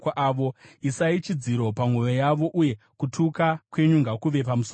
Isai chidziro pamwoyo yavo, uye kutuka kwenyu ngakuve pamusoro pavo!